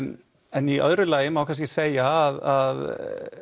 en í öðru lagi má kannski segja að